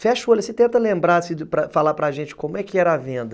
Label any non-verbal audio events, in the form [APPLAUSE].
Fecha o olho, você tenta lembrar, [UNINTELLIGIBLE] falar para gente como é que era a venda.